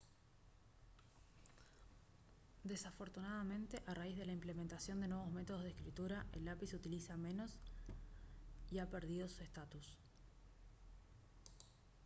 desafortunadamente a raíz de la implementación de nuevos métodos de escritura el lápiz se utiliza menos y ha perdido su estatus